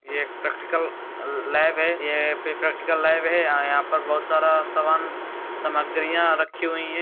ये एक practical lab है। ये फिर प्रैक्टिल लैब है य-यहाँ पर बहुत सारा सामान सामग्रियां रखी हुई हैं।